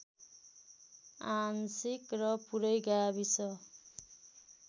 आंशिक र पूरै गाविस